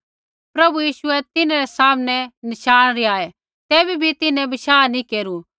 प्रभु यीशुऐ तिन्हरै सामने नशाण रिहाऐ तैबै भी तिन्हैं बशाह नैंई केरू